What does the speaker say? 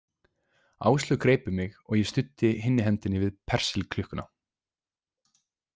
Áslaug greip um mig og ég studdi hinni hendinni við Persilklukkuna.